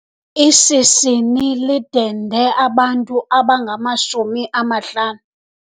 Ishishini lidende abantu abangamashumi amahlanu.